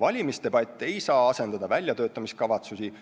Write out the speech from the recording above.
Valimisdebatt ei saa asendada väljatöötamiskavatsusi,